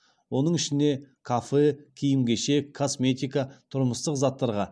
оның ішіне кафе киім кешек косметика тұрмыстық заттарға